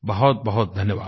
बहुतबहुत धन्यवाद